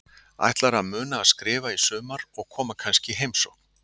Ætlarðu að muna að skrifa í sumar og koma kannski í heimsókn?